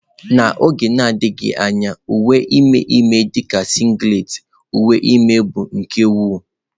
N'oge na-adịbeghị anya, uwe ime ime dị ka singlet, uwe ime bụ nke owu.